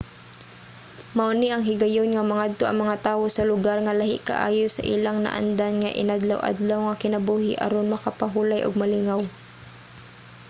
mao ni ang higayon nga mangadto ang mga tawo sa lugar nga lahi kaayo sa ilang naandan nga inadlaw-adlaw nga kinabuhi aron makapahulay ug malingaw